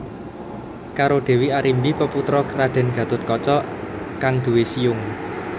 Karo Dewi Arimbi peputra Raden Gathotkaca kang duwé siung